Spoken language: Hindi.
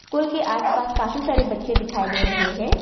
कूल के आसपास काफी सारे बच्चे दिखाई दे रहे हैं।